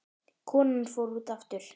Konan fór út aftur.